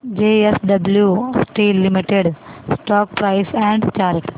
JSW steel limited stock price and chart